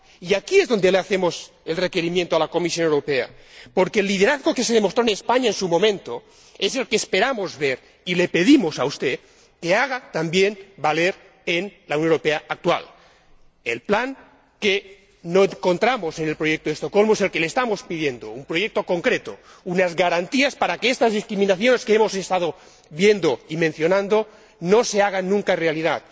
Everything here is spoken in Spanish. Y aquí es donde le hacemos el requerimiento a la Comisión Europea, porque el liderazgo que se demostró en España en su momento es el que esperamos ver, y le pedimos a usted que haga también valer en la Unión Europea actual este proyecto que no encontramos en el Plan de acción del Programa de Estocolmo. Le estamos pidiendo un proyecto concreto, unas garantías para que estas discriminaciones que hemos estado viendo y mencionando no se hagan nunca más realidad.